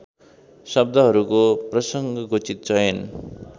शब्दहरूको प्रसङ्गोचित चयन